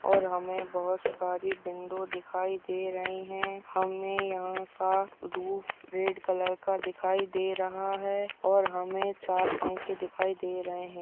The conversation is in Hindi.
और हमें बहुत सारी विंडो दिखाई दे रही है। हमें यहाँ का रुफ रेड कलर का दिखाई दे रहा है और हमें चार पंखे दिखाई दे रहे है।